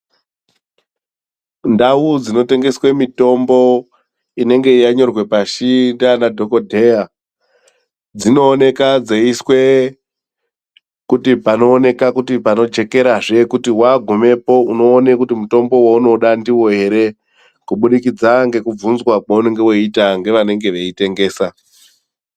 Ndau dzinotengeswe mitombo inenge yanyorwa pashi ndiana dhokodheya dzinooneka dzeiiswe kuti panooneka kuti panojekerazve kuti wagumepo unoone kuti mutombo waunoda ndiwo ere kubudikidza ngekubvunzwa kweunenge weiitwa ngevanenge veitengesa.